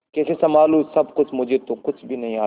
कैसे संभालू सब कुछ मुझे तो कुछ भी नहीं आता